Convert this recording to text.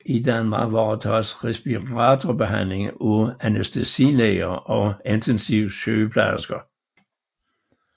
I Danmark varetages respiratorbehandling af anæstesilæger og intensivsygeplejersker